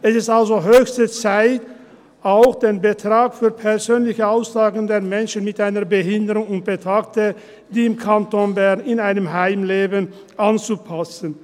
Es ist also höchste Zeit, auch den Betrag für persönliche Auslagen der Menschen mit einer Behinderung und Betagter, die im Kanton Bern in einem Heim leben, anzupassen.